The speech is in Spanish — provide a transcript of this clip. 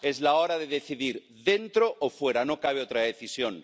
Es hora de decidir dentro o fuera, no cabe otra decisión.